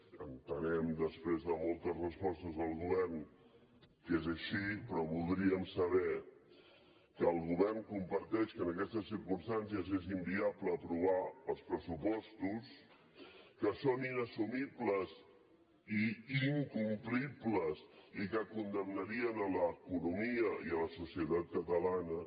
entenem després de moltes respostes del govern que és així però voldríem saber que el govern comparteix que en aquestes circumstàncies és inviable aprovar els pressupostos que són inassumibles i incomplibles i que condemnarien l’economia i la societat catalana